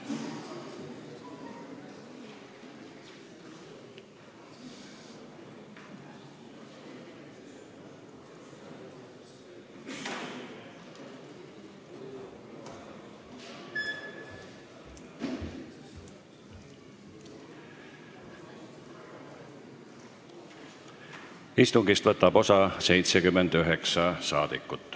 Kohaloleku kontroll Istungist võtab osa 79 saadikut.